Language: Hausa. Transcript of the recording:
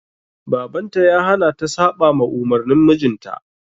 Baban ta ya hana ta saɓama umurnin mijinta.